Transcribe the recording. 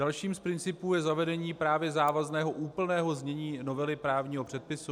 Dalším z principů je zavedení právě závazného úplného znění novely právního předpisu.